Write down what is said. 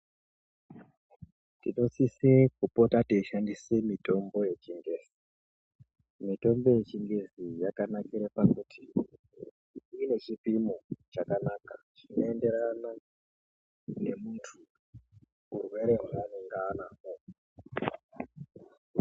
Tinosisa kupota yeishandiswa mitombo yechizvino mitombo yechingezi Yakanakira pakuti ine chipimo chakanaka chinoenderana nemuntu chirwere chanorwara nacho.